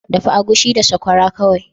Dafa agushi da sakwara kawai